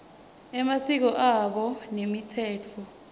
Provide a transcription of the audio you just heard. emasiko abo nemitsetfo